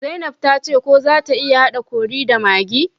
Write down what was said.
zainab tace ko zata iya hada curry da maggi